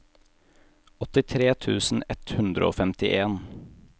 åttitre tusen ett hundre og femtien